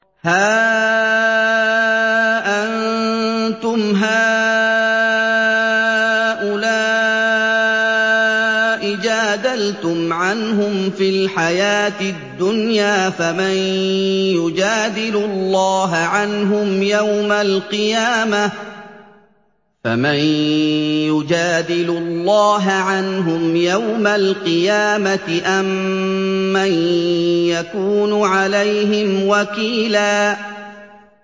هَا أَنتُمْ هَٰؤُلَاءِ جَادَلْتُمْ عَنْهُمْ فِي الْحَيَاةِ الدُّنْيَا فَمَن يُجَادِلُ اللَّهَ عَنْهُمْ يَوْمَ الْقِيَامَةِ أَم مَّن يَكُونُ عَلَيْهِمْ وَكِيلًا